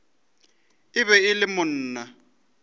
e be e le monna